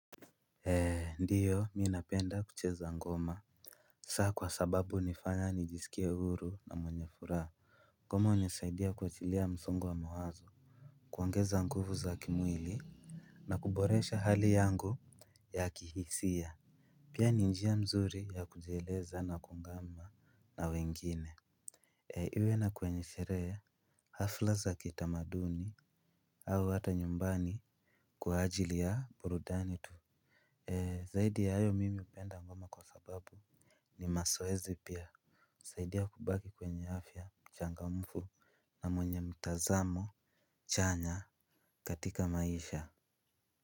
Ndiyo mi napenda kucheza ngoma sa kwa sababu unifanya nijiskie huru na mwenye furaa ngoma unisaidia kuachilia msongo wa mawazo kuongeza nguvu za kimwili na kuboresha hali yangu ya kihisia pia ni njia mzuri ya kujieleza na kungama na wengine iwe kwenye sheree hafla za kitamaduni au hata nyumbani kwa ajili ya burudani tu zaidi ya ayo mimi upenda ngoma kwa sababu nimasoezi pia usaidia kubaki kwenye afya mchangamfu na mwenye mtazamo chanya katika maisha.